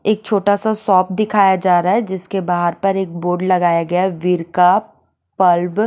एक छोटा सा शॉप दिखाया जा रहा है जिसके बहार पे एक बोर्ड लगाया गया है --